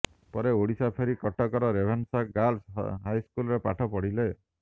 ପରେ ଓଡ଼ିଶା ଫେରି କଟକର ରେଭେନ୍ସା ଗାର୍ଲସ୍ ହାଇସ୍କୁଲରେ ପାଠ ପଢ଼ିଲେ